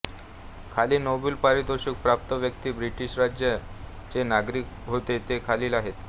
खाली नोबेल पारितोषिक प्राप्त व्यक्ती ब्रिटीश राज चे नागरिक होते ते खालील आहेत